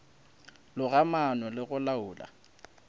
loga maano le go laola